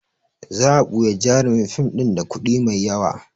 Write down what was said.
Za a buya jarumin fim ɗin da kuɗi mai yawa